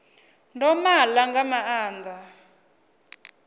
ndo ma ḽa nga maanḓa